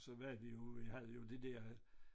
Så hvad vi jo vi havde jo de der